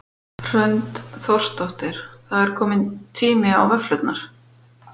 Hrund Þórsdóttir: Það er komin tími á vöfflurnar?